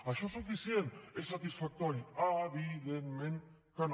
això és suficient és satisfactori evidentment que no